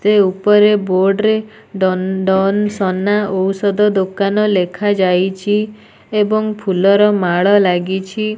ଏଉପରେ board ରେ ନଅନ୍ ସନା ଓୌଷଧ ଦୋକାନ ଲେଖାଯାଇଛି ଏବଂ ଫୁଲର ମାଳ ଲାଗିଛି।